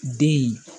Den